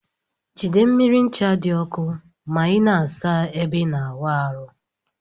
Jide mmiri ncha di ọkụ ma ina asa ebe ina awụ arụ.